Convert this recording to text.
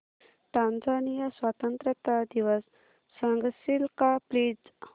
Tanzania स्वतंत्रता दिवस सांगशील का प्लीज